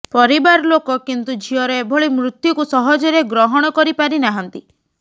ପରିବାର ଲୋକ କିନ୍ତୁ ଝିଅର ଏଭଳି ମୃତ୍ୟୁକୁ ସହଜରେ ଗ୍ରହଣ କରି ପାରି ନାହାନ୍ତି